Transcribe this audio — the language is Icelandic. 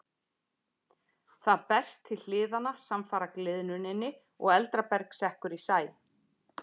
Það berst til hliðanna samfara gliðnuninni og eldra berg sekkur í sæ.